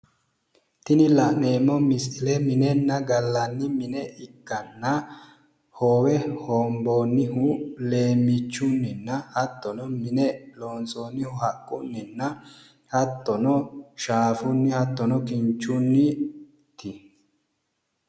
Tini la'neemmo misile minenna gallanni mine ikkanna hoowe hoomboonnihu leemmiichunninna hattono mine loonsoonnihu haqqunninna hattono shaafunni hattono kinchunniiti.